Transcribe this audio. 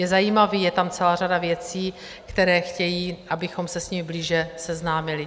Je zajímavý, je tam celá řada věcí, které chtějí, abychom se s nimi blíže seznámili.